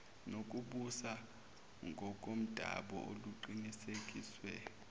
nokubusa ngokomdabu oluqinisekiswe